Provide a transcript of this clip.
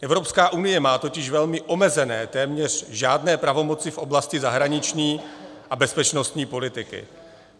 Evropská unie má totiž velmi omezené, téměř žádné pravomoci v oblasti zahraniční a bezpečnostní politiky.